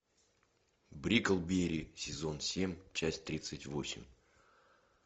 бриклберри сезон семь часть тридцать восемь